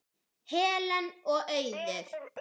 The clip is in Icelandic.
Helen og Auður.